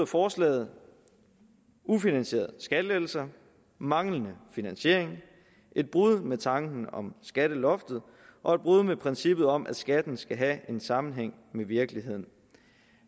forslaget ufinansierede skattelettelser manglende finansiering et brud med tanken om skatteloftet og et brud med princippet om at skatten skal have en sammenhæng med virkeligheden